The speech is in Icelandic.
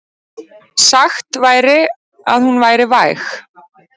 Sagt væri að hún væri væg.